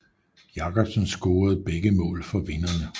Jacobsen scorede begge mål for vinderne